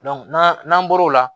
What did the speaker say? n'an n'an bɔr'o la